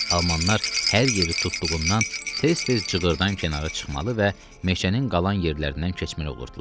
Almanlar hər yeri tutduğundan tez-tez cığır-dan kənara çıxmalı və məhşənin qalan yerlərindən keçməli olurdular.